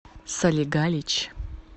солигалич